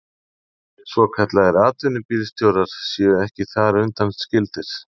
Svokallaðir atvinnubílstjórar séu þar ekki undanskildir